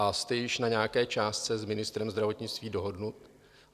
A jste již na nějaké částce s ministrem zdravotnictví dohodnut?